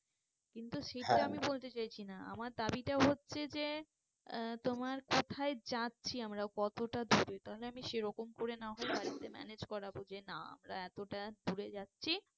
কিন্তু সেটা বলতে চাইছি না। আমার দাবিতে হচ্ছে যে আহ তোমার কোথায় যাচ্ছি আমরা কতটা দূরে? তাহলে আমি সে রকম করে না হয় বাড়িতে manage করাবো যে না আমরা এতটা দূরে যাচ্ছি